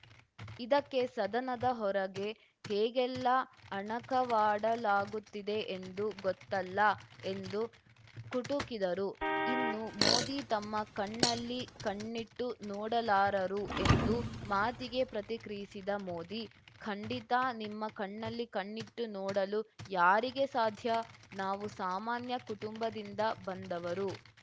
ಇದಕ್ಕೆ ಸದನದ ಹೊರಗೆ ಹೇಗೆಲ್ಲಾ ಅಣಕವಾಡಲಾಗುತ್ತಿದೆ ಎಂದು ಗೊತ್ತಲ್ಲಾ ಎಂದು ಕುಟುಕಿದರು ಇನ್ನು ಮೋದಿ ತಮ್ಮ ಕಣ್ಣಲ್ಲಿ ಕಣ್ಣಿಟ್ಟು ನೋಡಲಾರರು ಎಂದು ಮಾತಿಗೆ ಪ್ರತಿಕ್ರಿಯಿಸಿದ ಮೋದಿ ಖಂಡಿತಾ ನಿಮ್ಮ ಕಣ್ಣಲ್ಲಿ ಕಣ್ಣಿಟ್ಟು ನೋಡಲು ಯಾರಿಗೆ ಸಾಧ್ಯ ನಾವು ಸಾಮಾನ್ಯ ಕುಟುಂಬದಿಂದ ಬಂದವರು